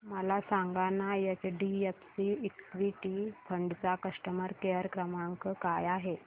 मला सांगाना HDFC equity fund चा कस्टमर केअर क्रमांक काय आहे